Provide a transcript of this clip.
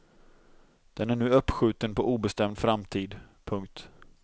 Den är nu uppskjuten på obestämd framtid. punkt